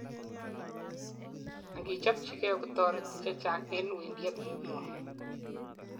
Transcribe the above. angichobchigei kotoreti chechang en wendiet ngung